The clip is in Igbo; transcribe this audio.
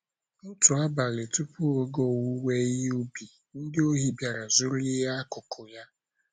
Otu abalị tupu oge owuwe ihe ubi, ndị ohi bịara zuru ịhe akụkụ ya.